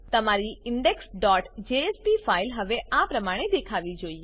તમારી indexજેએસપી ફાઈલ હવે આ પ્રમાણે દેખાવી જોઈએ